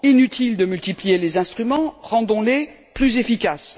Inutile de multiplier les instruments, rendons les plus efficaces.